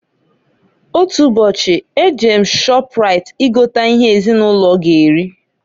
Otu ubochi, e jere m Shọprait I gota ihe ezinụlọ g'eri.